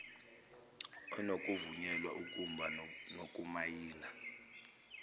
onokuvunyelwa ukumba ngokumayina